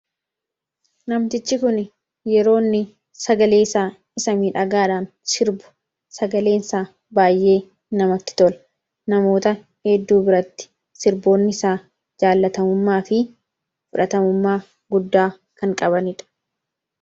Namtichi kun yeroo inni sagaleesaa isa miidhagaadhaan sirbu sagaleensaa baay'ee namatti tola. Namoota edduu biratti sirboonni isaa jaalatamummaa fi fudhatamummaa guddaa kan qabanidha.